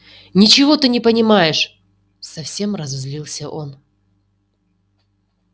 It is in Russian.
ничего ты не понимаешь совсем разозлился он